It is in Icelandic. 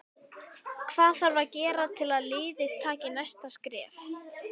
Hvað þarf að gera til að liðið taki næsta skref?